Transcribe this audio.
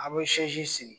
An bɛ sigi